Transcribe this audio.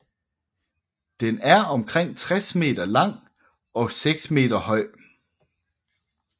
Den er omkring 60 m lang og 6 meter høj